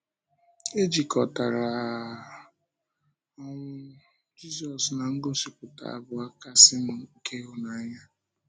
E jikọtara um ọnwụ Jízọs na ngosịpụta abụọ kasịnụ nke ịhụnanya.